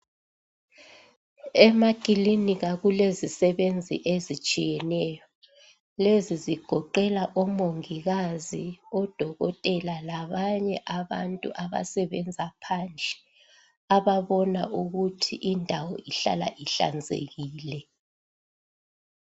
Emakilinika kulezisebenzi ezitshiyeneyo lezi zigoqela omongikazi odokotela labanye abantu abasebenza phandle ababona ukuthi indawo ihlala ihlanzekile.